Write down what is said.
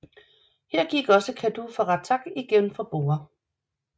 Her gik også Kadu fra Ratak igen fra borde